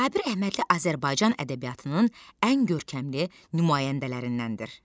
Sabir Əhmədli Azərbaycan ədəbiyyatının ən görkəmli nümayəndələrindəndir.